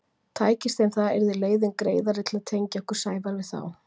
Tækist þeim það yrði leiðin greiðari til að tengja okkur Sævar við þá.